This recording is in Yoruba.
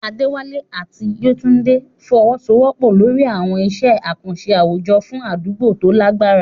Adewale àti Yetunde fọwọ́sowọ́pọ̀ lórí àwọn iṣẹ́ àkànṣe àwùjọ fún àdúgbò tó lágbára.